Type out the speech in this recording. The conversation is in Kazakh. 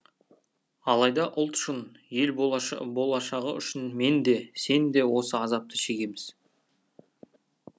алайда ұлт үшін ел болашағы үшін мен де сен де осы азапты шегеміз